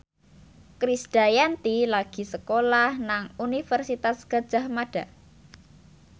Krisdayanti lagi sekolah nang Universitas Gadjah Mada